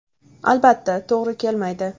Albatta, to‘g‘ri kelmaydi.